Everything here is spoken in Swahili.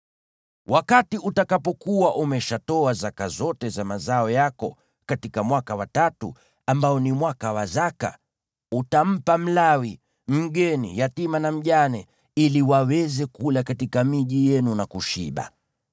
Wakati utakapokuwa umeshatoa zaka zote za mazao yako katika mwaka wa tatu, ambao ni mwaka wa zaka, utampa Mlawi, mgeni, yatima na mjane, ili waweze kula katika miji yenu na kushiba.